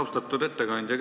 Austatud ettekandja!